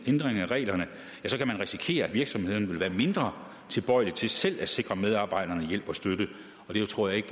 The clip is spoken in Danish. ændringer af reglerne kan man risikere at virksomheden vil være mindre tilbøjelig til selv at sikre medarbejderne hjælp og støtte det tror jeg ikke